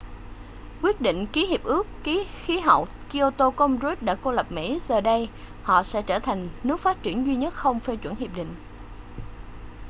quyết định ký hiệp ước khí hậu kyoto của ông rudd đã cô lập mỹ giờ đây họ sẽ trở thành nước phát triển duy nhất không phê chuẩn hiệp định